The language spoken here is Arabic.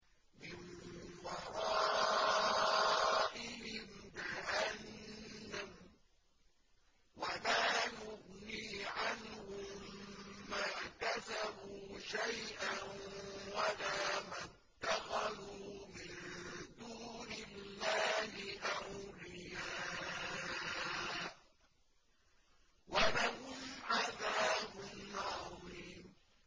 مِّن وَرَائِهِمْ جَهَنَّمُ ۖ وَلَا يُغْنِي عَنْهُم مَّا كَسَبُوا شَيْئًا وَلَا مَا اتَّخَذُوا مِن دُونِ اللَّهِ أَوْلِيَاءَ ۖ وَلَهُمْ عَذَابٌ عَظِيمٌ